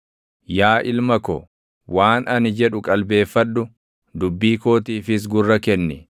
Yaa ilma ko, waan ani jedhu qalbeeffadhu; dubbii kootiifis gurra kenni.